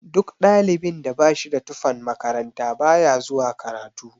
Duk ɗalibin da bashida tufan makaranta baya zuwa karatu.